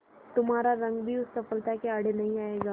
तुम्हारा रंग भी उस सफलता के आड़े नहीं आएगा